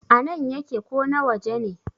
a nan yake ko na waje ne?